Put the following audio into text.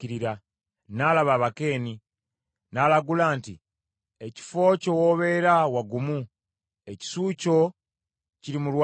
N’alaba Abakeeni, n’alagula nti: “Ekifo kyo w’obeera wagumu, ekisu kyo kiri mu lwazi